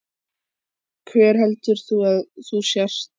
Hver heldur þú að þú sért?